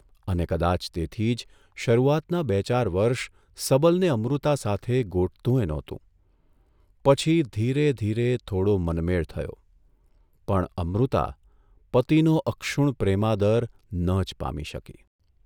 અને કદાચ તેથી જ શરૂઆતના બે ચાર વર્ષ સબલને અમૃતા સાથે ગોઠતુંયે નહોતું પછી ધીરે ધીરે થોડો મનમેળ થયો, પણ અમૃતા પતિનો અક્ષુણ્ણ પ્રેમાદર ન જ પામી શકી.